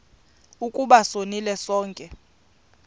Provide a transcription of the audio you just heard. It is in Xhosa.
ukuba sonile sonke